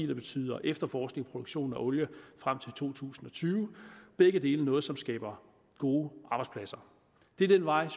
betyder efterforskningsproduktion af olie frem til to tusind og tyve begge dele er noget som skaber gode arbejdspladser det er den vej